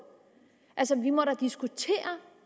altså vi må da diskutere